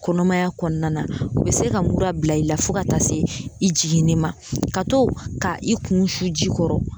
Kɔnɔmaya kɔnɔna na u be se ka mura bila i la fɔ ka taa se i jiginni ma ka to ka i kun su ji kɔrɔ